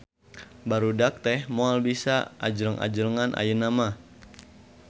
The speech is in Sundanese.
Barudak teh moal bisa anjleng-ajlengan ayeuna mah